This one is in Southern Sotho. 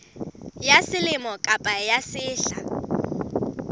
ya selemo kapa ya sehla